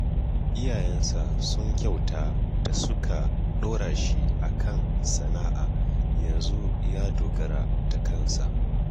Iyayensa sun kyauta da suka ɗora shi a kan sana'a yanzu ya dogara da kansa